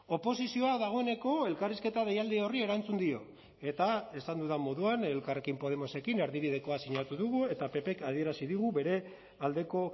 oposizioa dagoeneko elkarrizketa deialdi horri erantzun dio eta esan dudan moduan elkarrekin podemosekin erdibidekoa sinatu dugu eta ppk adierazi digu bere aldeko